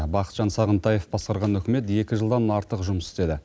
бақытжан сағынтаев басқарған үкімет екі жылдан артық жұмыс істеді